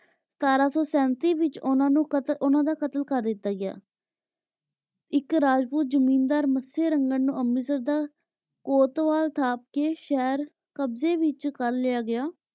ਸਤਰਾਂ ਸੋ ਸੇੰਟੀ ਵਿਚ ਓਨਾਂ ਨੂ ਓਨਾਨਾ ਦਾ ਕਾਤਲ ਕਰ ਦਿਤਾ ਗਯਾ ਏਇਕ ਰਾਜਪੂਤ ਜ਼ਮੀਂਦਾਰ ਮਤਸਯ ਰੰਗਤ ਨੂ ਅੰਮ੍ਰਿਤਸਰ ਦਾ ਕੋਤਵਾਲ ਅਸਥਾਪ ਕੇ ਸ਼ੇਹਰ ਕ਼ਾਬ੍ਜਾਯ ਵਿਚ ਕਰ ਲਾਯਾ ਗਯਾ